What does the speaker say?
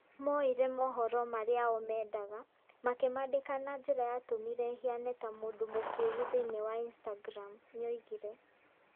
"Moire moohoro marĩa o mendaga .Makĩmaandĩka na njĩra yatũmire hiane ta mũndũ mokegu thĩinĩ wa instagram", nĩoigire.